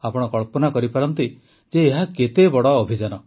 ଆପଣ କଳ୍ପନା କରିପାରନ୍ତି ଯେ ଏହା କେତେ ବଡ଼ ଅଭିଯାନ